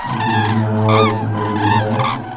जोकि दिखने में और भी सुंदर दिख रहा है।